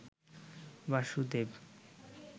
Basudeb